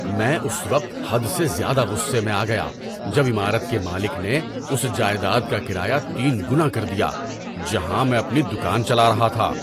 میں اس وقت حد سے زیادہ غصے میں آ گیا جب عمارت کے مالک نے اس جائیداد کا کرایہ تین گنا کر دیا جہاں میں اپنی دکان چلا رہا تھا۔